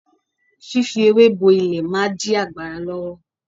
Fífi ewé bo ilẹ̀ máa dí ọ̀gbàrá lọ́wọ́.